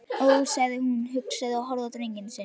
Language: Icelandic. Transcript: Ó, sagði hún hugsi og horfði á drenginn sinn.